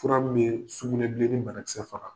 Fura min bɛ sugunɛbilennin banakisɛ faga.